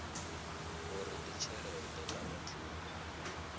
uri ndi tshelede kana thundu